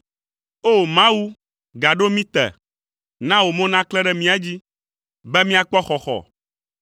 O! Mawu, gaɖo mí te; na wò mo naklẽ ɖe mía dzi, be míakpɔ xɔxɔ.